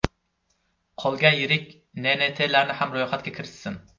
Qolgan yirik NNTlarni ham ro‘yxatga kiritsin.